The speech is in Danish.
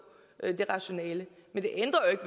det rationale men det ændrer